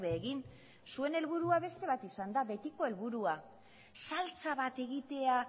egin zuen helburua beste bat izan da betiko helburua saltsa bat egitea